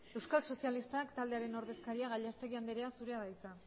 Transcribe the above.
euskal sozialistak taldearen ordezkaria gallastegui andrea zurea da hitza